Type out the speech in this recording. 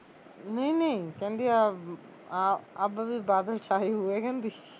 ਨਹੀਂ ਨਹੀਂ ਕਹਿੰਦੀ ਅਭ ਵੀ ਬਾਦਲ ਸ਼ਾਏ ਹੁਏ ਕਹਿੰਦੀ